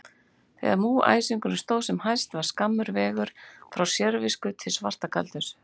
Þegar múgæsingurinn stóð sem hæst var skammur vegur frá sérvisku til svartagaldurs.